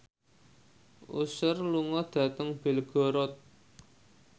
Usher lunga dhateng Belgorod